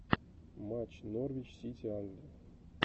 матч норвич сити англия